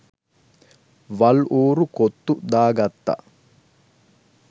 වල් ඌරු කොත්තු දාගත්ත